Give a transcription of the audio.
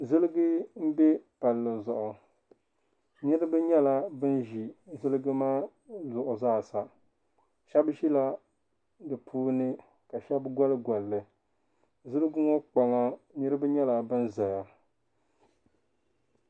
Ziliji m-be palli zuɣu. Niriba nyɛla ban ʒi ziliji maa zuɣu zaasa. Shɛba ʒila di puuni ka shɛba gɔligɔli li. Ziliji ŋɔ kpaŋa niriba nyɛla ban zaya.